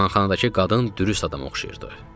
Mehmanxanadakı qadın dürüst adama oxşayırdı.